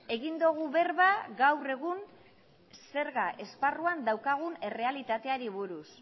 egin dugu berba gaur egun zerga esparruan daukagun errealitateari buruz